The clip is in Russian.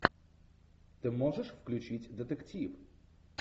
ты можешь включить детектив